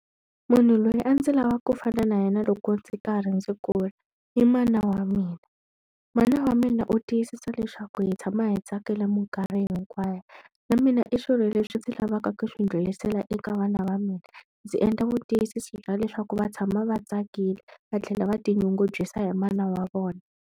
Munhu loyi a ndzi lavaka ku fana na yena loko ndzi karhi ndzi kula i mana wa mina. Mana wa mina u tiyisisa leswaku hi tshama hi tsakile mikarhi hinkwayo. na mina i swilo leswi ndzi lavaka ku swi ndlhurisela eka vana va mina. Ndzi endla vutiyisisi bya leswaku va tshama va tsakile, va tlhela va tinyungubyisa hi mana wa vona.